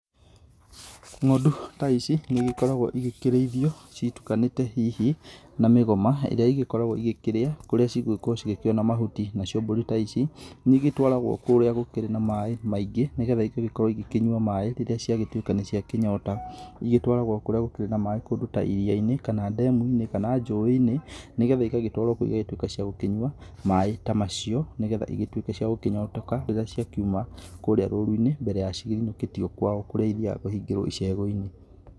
Ng'ondu ta ici nĩ igĩkoragwo ikĩrĩithio citukanĩte hihi na mĩgoma ĩrĩa igĩkoragwo cigĩkĩrĩa kũria cikuona mahuti. Nacio mbũri ta ici nĩ igĩtwaragwo kũrĩa gũkĩrĩ maaĩ maingĩ nĩ getha igagĩkorwo ikĩnyua maaĩ rĩrĩaciagĩtuĩka nĩ ciakĩnyota. Igĩtwaragwo kũrĩa gũkĩrĩ na maaĩ ta kũndũ iria-inĩ kana ndemu-inĩ kana njũĩ-inĩ. Nĩ getha igagĩtwarwo kũu igagĩtuĩka ciagũkinyua maaĩ ta macio. Nĩ getha igĩtuĩke ciagũkĩnyotoka rĩrĩa ciakiuma kũrĩa rũru-inĩ mbere ya cinũkĩtio kwao kũrĩa ithiaga kũhingĩrwo icegũ-inĩ